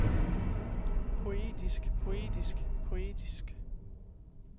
poetisk poetisk poetisk